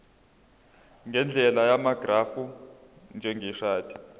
ngendlela yamagrafu njengeshadi